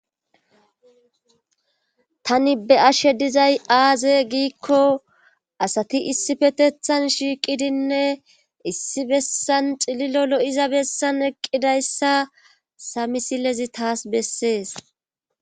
tani be ashe dizay aaze giikko asati issi fetethan shiiqidinne issi bessan xililo lo7iza bessan eqqidayssa samisilezi taas bessees